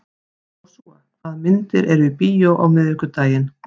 Jósúa, hvaða myndir eru í bíó á miðvikudaginn?